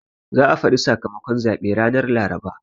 Za a faɗi sakamakon zaɓe ranan Laraba.